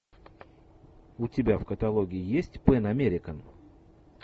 у тебя в каталоге есть пэн американ